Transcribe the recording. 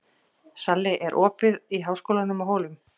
Salli, er opið í Háskólanum á Hólum?